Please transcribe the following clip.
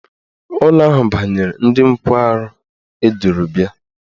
Ụlọ ahụ banyere ndị nkwarụ eduru bịa.